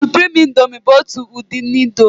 Suprimi índomi bụ ọtu udi índomi.